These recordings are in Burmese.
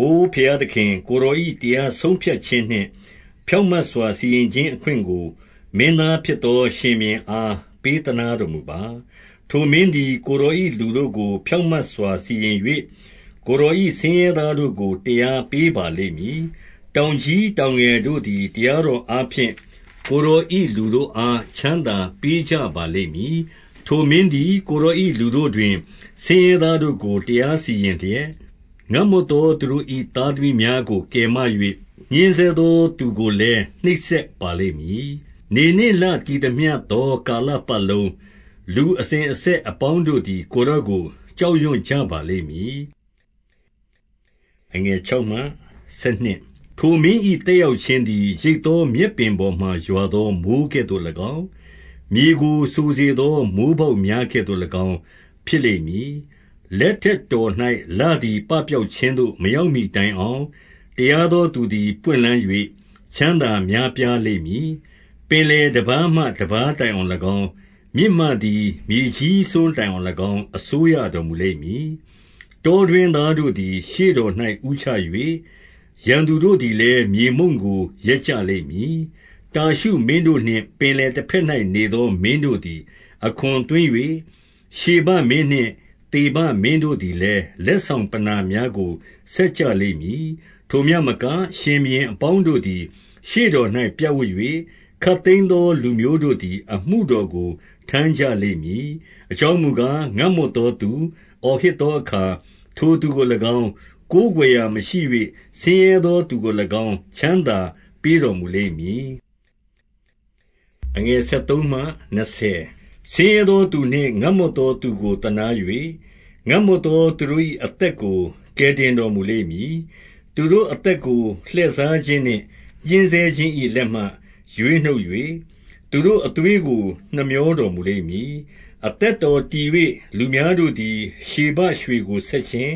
အိုဘုရားသခင်၊ ကိုယ်တော်၏ တရားဆုံးဖြတ်ခြင်းနှင့် ဖြောင့်မတ်စွာ စီရင်ခြင်း အခွင့်ကို မင်းသား ဖြစ်သော ရှင်ဘုရင်အား ပေးသနားတော်မူပါ။ 2 ထိုမင်းသည် ကိုယ်တော်၏ လူတို့ကို ဖြောင့်မတ်စွာ စီရင်၍၊ ကိုယ်တော်၏ဆင်းရဲသားတို့ကို တရားပေး ပါလိမ့်မည်။ 3 တောင်ကြီးတောင်ငယ်တို့သည် တရားတော်အားဖြင့်၊ ကိုယ်တော်၏ လူတို့အား ချမ်းသာပေးကြ ပါလိမ့်မည်။ 4 ထိုမင်းသည် ကိုယ်တော်၏ လူတို့တွင် ဆင်းရဲ သားတို့ကို တရားစီရင်လျက်၊ ငတ်မွတ်သောသူတို့၏ သား သမီးများကို ကယ်မ၍၊ ညှဉ်းဆဲသောသူကိုလည်း နှိပ်စက် ပါလိမ့်မည်။ 5 နေနှင့်လတည်သမျှသော ကာလပတ်လုံး၊ လူ အစဉ်အဆက်အပေါင်းတို့သည် ကိုယ်တော်ကို ကြောက်ရွံ ကြပါလိမ့်မည်။ 6 ထိုမင်း၏ သက်ရောက်ခြင်းသည် ရိတ်သော မြက်ပင်ပေါ်မှာ ရွာသောမိုဃ်းကဲ့သို့၎င်း၊ မြေကို စိုစေ သော မိုဃ်းပေါက်များကဲ့သို့၎င်း ဖြစ်လိမ့်မည်။ 7 လက်ထက်တော်၌ လသည်ပပျောက်ခြင်းသို့ မရောက်မှီတိုင်အောင်၊ တရားသောသူသည် ပွင့်လန်း၍ ချမ်းသာများပြားလိမ့်မည်။ 8 ပင်လယ်တပါးမှ တပါးတိုင်အောင်၎င်း၊ မြစ်မှ သည် မြေစွန်းတိုင်အောင်၎င်း အစိုးရတော်မူလိမ့်မည်။ 9 တောတွင်းသားတို့သည် ရှေ့တော်၌ ဦးချ၍၊ ရန်သူတို့သည်လည်း မြေမှုန့်ကို လျက်ကြလိမ့်မည်။ 10 တာရှု မင်းတို့နှင့် ပင်လယ်တဘက်၌ နေသော မင်းတို့သည်အခွင်သွင်း၍၊ ဗရှဘမင်းနှင့် သေဘမင်းတို့သည် လည်း လက်ဆောင်ပဏ္ဏာများကို ဆက်ကြ လိမ့်မည်။ 11 ထိုမျှမက ရှင်ဘုရင်အပေါင်းတို့သည် ရှေ့တော်၌ ပြပ်ဝပ်၍၊ ခပ်သိမ်းသော လူမျိုးတို့သည် အမှုတော်ကို ထမ်းကြလိမ့်မည်။ 12 အကြောင်းမူကား၊ ငတ်မွတ်သောသူ အော်ဟစ် သောအခါ၊ ထိုသူကို၎င်း၊ ကိုးကွယ်ရာမရှိ၍ ဆင်းရဲသော သူကို၎င်း ချမ်းသာပေးတော်မူလိမ့်မည်။ 13 ဆင်းရဲသောသူနှင့် ငတ်မွတ်သောသူကို သနား၍၊ ငတ်မွတ်သော သူတို့၏ အသက်ကို ကယ်တင်တော် မူလိမ့်မည်။ 14 သူတို့အသက်ကို လှည့်စားခြင်းနှင့်ညှဉ်းဆဲခြင်း၏ လက်မှ ရွေးနှုတ်၍၊ သူတို့အသွေးကို နှမြောတော်မူလိမ့် မည်။ 15 အသက်တော်တည်၍ လူများတို့သည် ရှေဘရွှေ ကို ဆက်ခြင်း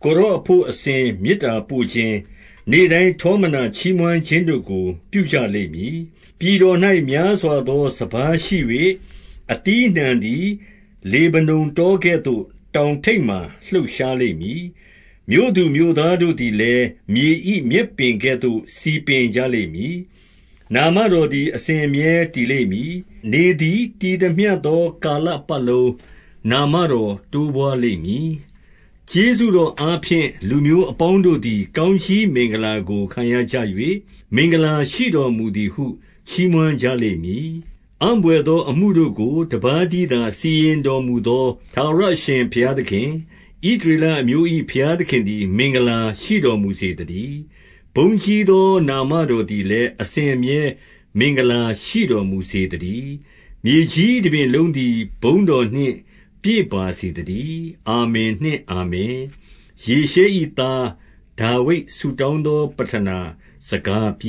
၊ ကိုယ်တော်အဘို့ အစဉ်မေတ္တာပို့ခြင်း၊ နေ့တိုင်းထောမနာချီးမွမ်းခြင်းတို့ကို ပြုကြလိမ့်မည်။ 16 ပြည်တော်၌ များစွာသော စပါးရှိ၍၊ အသီးအနှံ သည် လေဗနုန် တောကဲ့သို့ တောင်ထိပ်ပေါ်မှာ လှုပ်ရှား လိမ့်မည်။ မြို့သူမြို့သားတို့သည်လည်း၊ မြေ၏မြက်ပင်ကဲ့သို့ စည်ပင်ကြလိမ့်မည်။ 17 နာမတော်သည် အစဉ်အမြဲတည်လိမ့်မည်။ နေ သည် တည်သမျှသော ကာလပတ်လုံး နာမတော်တိုးပွား လိမ့်မည်။ ကျေးဇူးတော်အားဖြင့် လူမျိုးအပေါင်းတို့သည် ကောင်းကြီးမင်္ဂလာကိုခံရကြ၏၊ မင်္ဂလာရှိတော်မူသည်ဟု ချီးမွမ်းကြလိမ့်မည်။ 18 အံ့ဘွယ်သော အမှုတို့ကို တပါးတည်းသာ စီရင် တော်မူသော ထာဝရအရှင်ဘုရားသခင်၊ ဣသရေလအမျိုး၏ ဘုရားသခင်သည် မင်္ဂလာရှိတော်မူစေသတည်း။ 19 ဘုန်းကြီးသော နာမတော်သည်လည်း အစဉ်အမြဲ မင်္ဂလာရှိတော်မူစေသတည်း။ မြေကြီးတပြင်လုံးသည် ဘုန်းတော်နှင့်ပြည့်စုံပါစေသတည်း။ အာမင်နှင့်အာမင်။ 20 ယေရှဲ၏ သားဒါဝိဒ် ဆုတောင်းသောပဌနာ စကားပြီ